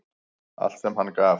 Allt sem hann gaf.